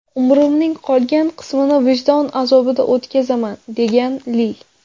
Umrimning qolgan qismini vijdon azobida o‘tkazaman”, degan Li.